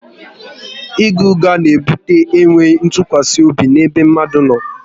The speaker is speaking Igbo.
ịgha ụgha na ebute e nweghị ntụkwasị obi n'ebe mmadụ no